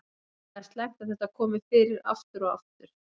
Það er slæmt að þetta komi fyrir aftur og aftur.